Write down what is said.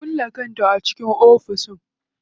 Ta kulle kanta a cikin ofis.